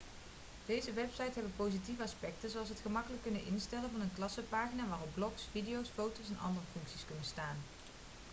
deze websites hebben positieve aspecten zoals het gemakkelijk kunnen instellen van een klassenpagina waarop blogs video's foto's en andere functies kunnen staan